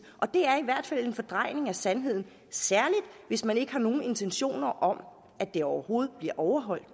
og det er i hvert fald en fordrejning af sandheden særlig hvis man ikke har nogen intentioner om at det overhovedet bliver overholdt